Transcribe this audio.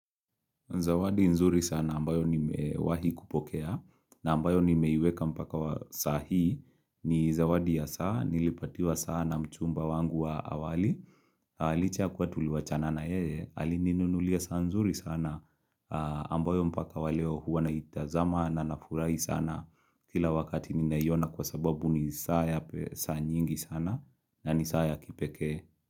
Zawadi nzuri sana ambayo ni mewahi kupokea na ambayo ni meiweka mpaka wa sahi ni zawadi ya saa, nilipatiwa saa na mchumba wangu wa awali, alicha kwa tuli wachana na yeye, alininunulia saa nzuri sana ambayo mpaka waleo huwa na itazama na nafurahi sana kila wakati ninaiona kwa sababu ni saa yape saa nyingi sana na ni saa ya kipekee.